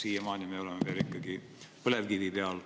Siiamaani me oleme veel ikkagi põlevkivi peal.